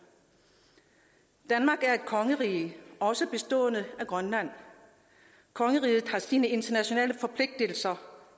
danmark er et kongerige også bestående af grønland og kongeriget har sine internationale forpligtelser